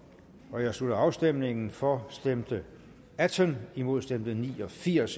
nu jeg slutter afstemningen for stemte atten imod stemte ni og firs